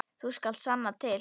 Þú skalt sanna til.